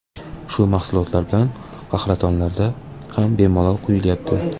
Shu mahsulotlar bilan qahratonlarda ham bemalol quyilyapti.